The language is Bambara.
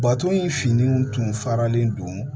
Bato in fini tun faralen don